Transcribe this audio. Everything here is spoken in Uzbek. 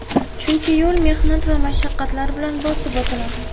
Chunki yo‘l mehnat va mashaqqatlar bilan bosib o‘tiladi.